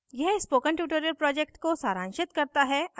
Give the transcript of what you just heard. यह spoken tutorial project को सारांशित करता है